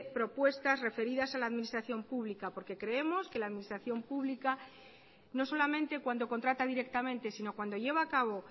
propuestas referidas a la administración pública porque creemos que la administración pública no solamente cuando contrata directamente sino cuando lleva a cabo